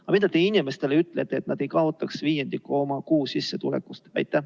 Aga mida te inimestele ütlete, et nad ei kaotaks viiendikku oma kuusissetulekust?